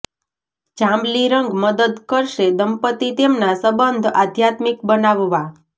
જાંબલી રંગ મદદ કરશે દંપતી તેમના સંબંધ આધ્યાત્મિક બનાવવા